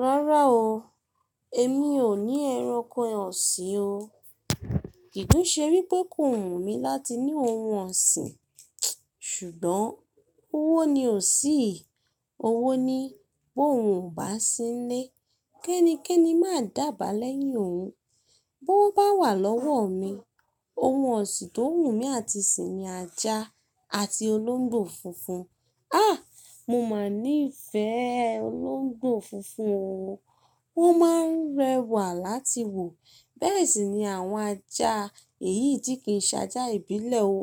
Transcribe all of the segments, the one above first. Rárá o, èmi ò ní ẹranko ọ̀sìn o. Kìí ṣe wípé kò wù mí láti ní ohun ọ̀sìn, ṣùgbọ́n owó ni ò sí. Owó ni, bó oùn ò bá sí n nlé, kẹ́ni kẹ́ni máa dàbàá lẹ́yìn òun. Bówo bá wà lọ́wọ́ mi, oun ọ̀sìn tó wù mí àti sì ni ajá àti olóńgbò funfun. À! Mo máa nífẹ̀ẹ́ olóńgbò funfun o, wọ́n máa ń rẹwà láti wò, bẹ́ẹ̀ sì ni àwọn ajá èyí tí kì í ṣajá ìbílẹ̀ o.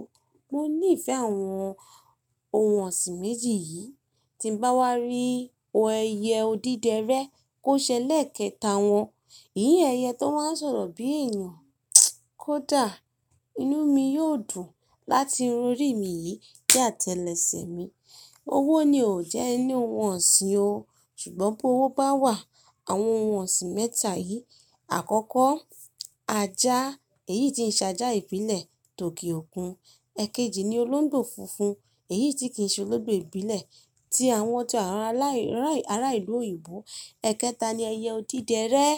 Mo nífẹ̀ẹ́ àwọn oun ọ̀sìn méjì yìí. Tí n bá wá rí ẹyẹ odídẹrẹ́ kó ṣẹlẹ̀ kẹta wọn, ìyẹn ẹyẹ tó máa n sọ̀rọ̀ bí èèyàn, kó dà, inú mi yóò dùn láti írun ori mi yìí de àtẹlẹ ẹsẹ̀ mi. Owó ni ó jẹ́ n ni oun ọ̀sìn o, ṣùgbọ́n bówó bá wà, àwọn oun ọ̀sìn mẹ́ta yìí, àkọ́kọ́ ajá èyí tí ń ṣajá ìbílẹ̀ tò ke òkun, èkejì ni olóńgbò funfun èyí tí kì í ṣe olóńgbò ìbílẹ̀ tí àwọn ti ará ìlú òyìnbó, èkéta ni ẹyẹ odídẹrẹ́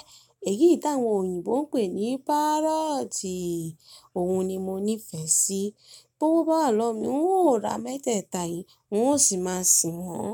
èyí tí àwọn òyìnbó ń pè ní parrot, òun ni mo nífẹ̀ẹ́ sí. Tó wo bá wà lọ́wọ́ mi, n ó ra mẹ́tẹ́ẹ̀ta yìí, n ó sì máa sìn wọ́n.